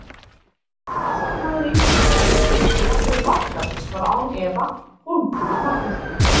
Besti maður íslenska liðsins og jafnvel vallarins var án efa Hólmfríður Magnúsdóttir.